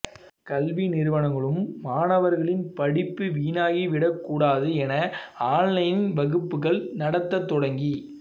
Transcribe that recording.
கல்வி நிறுவனங்களும் மாணவர்களின் படிப்புவீணாகிவிடக் கூடாது என ஆன்லைன் வகுப்புகள் நடத்த தொடங்கி